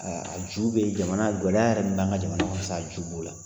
A ju bɛ jamana gɛlɛya yɛrɛ min b'an ka jamana kan a ju b'o la